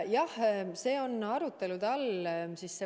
Jah, see on arutelu all.